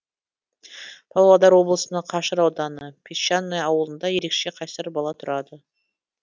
павлодар облысының қашыр ауданы песчанное ауылында ерекше қайсар бала тұрады